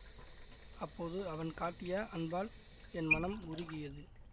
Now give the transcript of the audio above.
அப்போது அவன் காட்டிய அன்பால் என் மனம் உருகியது